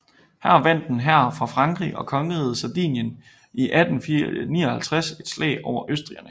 Her vandt en hær fra Frankrig og kongeriget Sardinien i 1859 et slag over østrigerne